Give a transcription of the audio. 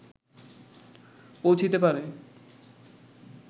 পৌঁছিতে পারে